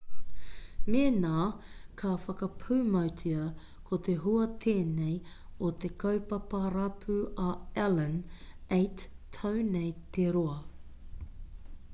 mēnā ka whakapūmautia ko te hua tēnei o te kaupapa rapu a allan 8 tau nei te roa